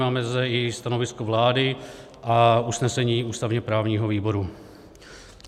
Máme zde i stanovisko vlády a usnesení ústavně-právního výboru.